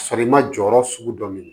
Ka sɔrɔ i ma jɔyɔrɔ sugu dɔ minɛ